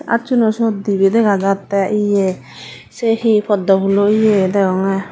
acchuno suyot dibey dega jatte ye se he poddo phulo ye degonge.